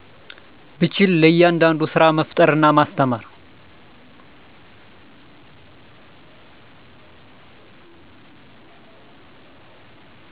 ብችል ለያዳዳዱ ስራመፍጠር እና ማስተማር